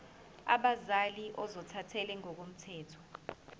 abazali ozothathele ngokomthetho